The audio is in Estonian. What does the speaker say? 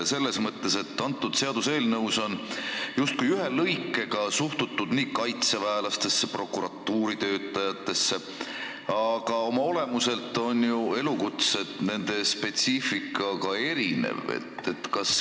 Selles seaduseelnõus on justkui ühe lõikega käsitletud kaitseväelasi ja prokuratuuri töötajaid, aga oma olemuselt on ju need elukutsed ja nende spetsiifika erinevad.